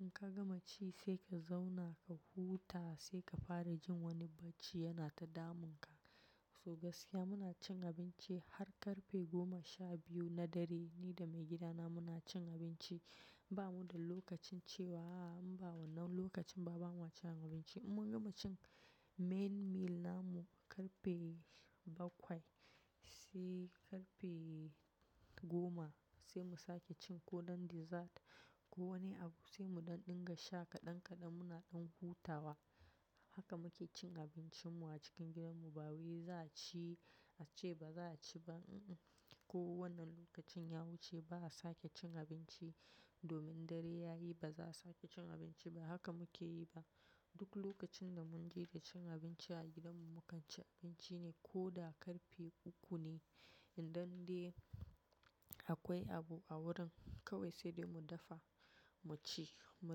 In ka gama ci sai ka zauna ka huta sai ka fara jin wani bacci yana ta damun ka. Toh gaskiya muna cin abinci har karfe goma sha biyu na dare, ni da maigida na muna cin abinci. Ba mu da lokacin cewa a'a in ba wannan lokacin ba bamuwa cin abinci. In mun gama cin main meal namu karfe bakwai sai karfe goma sai mu sake cin ko dan dessert ko wani abu sai mu dan dinga sha kaɗan kaɗan muna dan hutawa. Haka muke cin abincin mu a cikin gidan mu ba wai za a ci a ce ba za a ci ba, uhuh. Ko wannan lokacin ya wuce ba a sake cin abinci domin dare yayi ba za a sake cin abinci ba haka muke yi ba. Duk lokacin da mun ji da cin abinci a gidan mu mu kan ci abinci ne koda karfe uku ne. In dan dai akwai abu a wurin kawai sai dai mu dafa mu ci, mu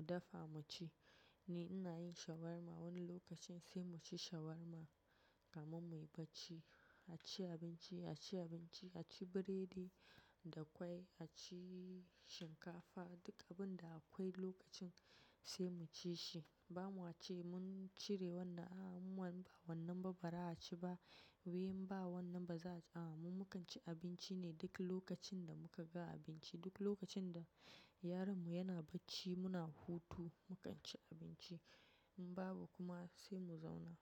dafa mu ci. Ni ina yin shawarma wani lokacin sai mu ci shawarma kamun muyi bacci. A ci abinci, a ci abinci, a ci burodi da kwai, a ci shinkafa, duk abunda akwai lokacin sai mu ci shi. Ba mu wace mun cire wannan a'a in ba wannan ba ba za a ci ba. Wai in ba wannan ba za a'a, mu mukan ci abinci ne duk lokacin da muka ga abinci. Duk lokacin da yaron mu yana bacci muna hutu mu kan ci abinci. In babu kuma sai mu zauna.